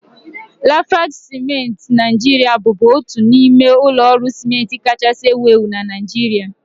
Lafarge ciment Naijiria bụbu otu n'ime ụlọ ọrụ ciment kachasị ewu ewu na Naịjirịa